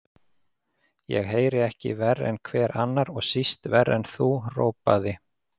Ég heyri ekki verr en hver annar, og síst verr en þú, hrópaði